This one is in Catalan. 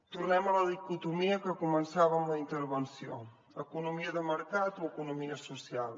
tornem a la dicotomia amb què començàvem la intervenció economia de mercat o economia social